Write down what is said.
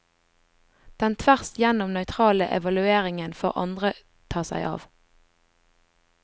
Den tvers gjennom nøytrale evalueringen får andre ta seg av.